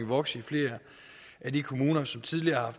vokset i flere af de kommuner som tidligere